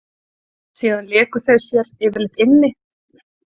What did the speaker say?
Síðan léku þau sér yfirleitt inni.